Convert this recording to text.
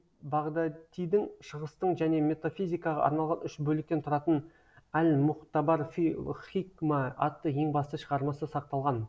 бағдатидің шығыстың және метафизикаға арналған үш бөліктен тұратын әл муғтабар фи лхикма атты ең басты шығармасы сақталған